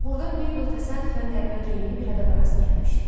Burada Mabel təsadüfən qəribə geyimli bir adama rast gəlmişdi.